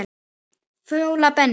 Fjóla Benný.